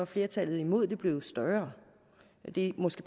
flertallet imod det blevet større det er måske